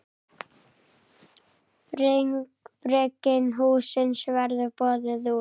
Bygging hússins verður boðin út.